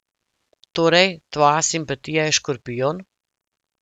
Torej, tvoja simpatija je škorpijon.